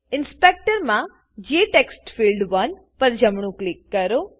inspector inspector માં જેટેક્સ્ટફિલ્ડ1 પર જમણું ક્લિક કરો